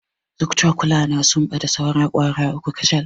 Duk cokulana sun ɓata saura ƙwara uku kacal.